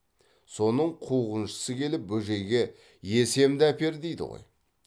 соның қуғыншысы келіп бөжейге есемді әпер дейді ғой